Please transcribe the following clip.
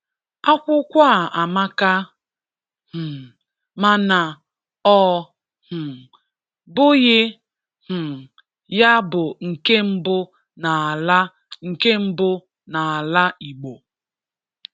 Akwụkwọ a amaka, um mana ọ um bụghị um ya bụ nke mbụ n'ala nke mbụ n'ala igbo